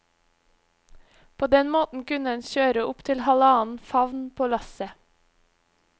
På den måten kunne en kjøre opp til halvannen favn på lasset.